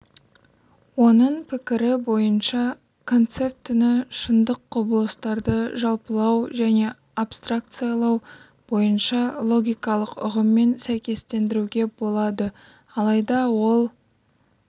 оның пікірі бойынша концептіні шындық құбылыстарды жалпылау мен абстракциялау бойынша логикалық ұғыммен сәйкестендіруге болады алайда ол